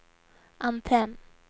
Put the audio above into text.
antenn